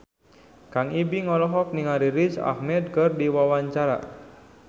Kang Ibing olohok ningali Riz Ahmed keur diwawancara